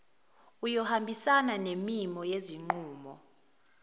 iyohambisana nemimo yezinqumo